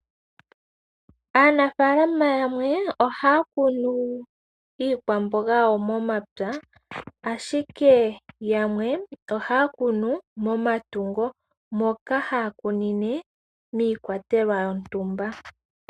Aanafalama yamwe ohaya kunu iikwamboga yawo momapya, ashike yamwe ohaya kunu momatungo moka haya kunine miikwatelwa yontumba.